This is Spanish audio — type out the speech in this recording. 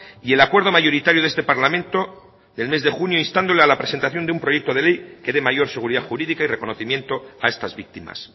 y el acuerdo mayoritario de este parlamento del mes de junio instando a la presentación de un proyecto de ley que dé mayor seguridad jurídica y reconocimiento a estas víctimas